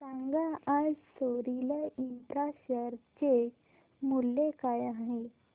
सांगा आज Soril infra share चे मूल्य काय आहे